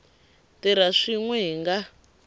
tirha swin we hi nga